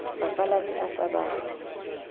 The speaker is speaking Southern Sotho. bapalami a sa ba fe